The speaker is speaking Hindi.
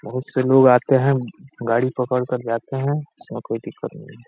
बहुत से लोग आते हैं। गाडी पकड़ कर जाते हैं। इसमें कोई दिक्कत नहीं --